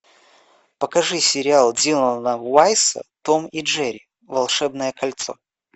покажи сериал дилана вайса том и джерри волшебное кольцо